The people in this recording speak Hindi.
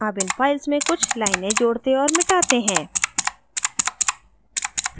add इन files में कुछ लाइनें जोड़ते और मिटाते हैं